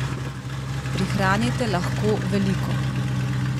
Prihranite lahko veliko!